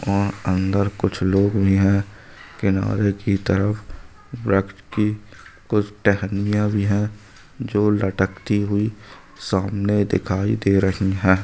वहाँ अंदर कुछ लोग भी हैं। किनारे की तरफ व्रक्ष की कुछ टहनियाँ भी हैं। जो लटकती हुई सामने दिखाई दे रही हैं।